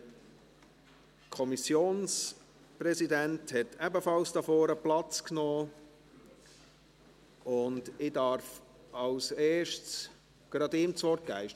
Der Kommissionspräsident hat ebenfalls hier vorne Platz genommen, und ich darf als Erstes gerade ihm das Wort geben.